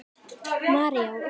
María og Óskar.